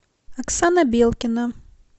оксана белкина